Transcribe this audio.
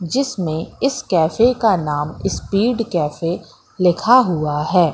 जिसमें इस कैफे का नाम स्पीड कैफे लिखा हुआ है।